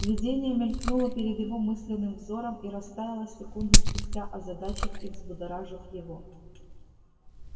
видение мелькнуло перед его мысленным взором и растаяло секунду спустя озадачив и взбудоражив его